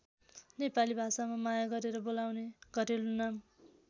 नेपाली भाषामा माया गरेर बोलाउने घरेलु नाम।